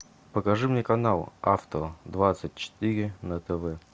покажи мне канал авто двадцать четыре на тв